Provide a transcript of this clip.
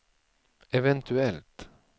eventuellt